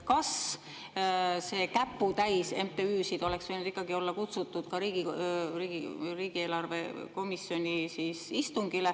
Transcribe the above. Kas see käputäis MTÜ‑sid oleks võinud ikkagi olla kutsutud ka riigieelarve komisjoni istungile …